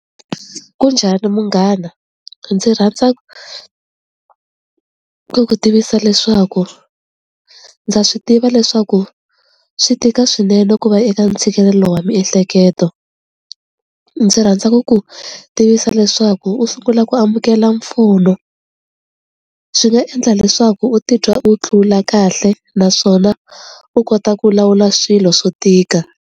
Ku njhani munghana ndzi rhandza ku ku tivisa leswaku ndza swi tiva leswaku swi tika swinene ku va eka ntshikelelo wa miehleketo, ndzi rhandza ku ku tivisa leswaku u sungula ku amukela mpfuno swi nga endla leswaku u titwa u tlula kahle naswona u kota ku lawula swilo swo tika.